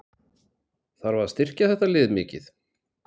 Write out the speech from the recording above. Þarf að styrkja þetta lið mikið?